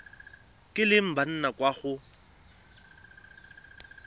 kileng ba nna kwa go